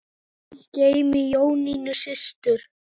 Guð geymi Jónínu systur.